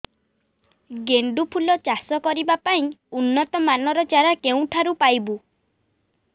ଗେଣ୍ଡୁ ଫୁଲ ଚାଷ କରିବା ପାଇଁ ଉନ୍ନତ ମାନର ଚାରା କେଉଁଠାରୁ ପାଇବୁ